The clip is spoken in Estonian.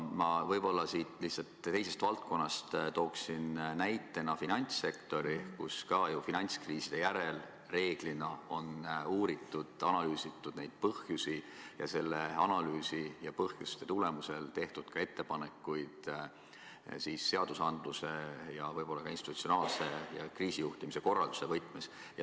Ma lihtsalt teisest valdkonnast tooksin näitena finantssektori, kus finantskriiside järel reeglina on ka uuritud ja analüüsitud neid põhjusi ning analüüsi ja põhjuste tulemusel tehtud ettepanekuid seadusandluse, institutsionaalse ning kriisijuhtimise korralduse võtmes.